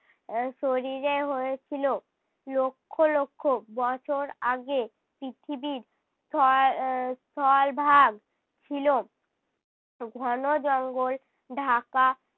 আহ শরীরে হয়েছিল। লক্ষ লক্ষ বছর আগে পৃথিবীর স্থল আহ স্থল ভাগ ছিল ঘন জঙ্গল ঢাকা।